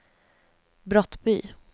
Brottby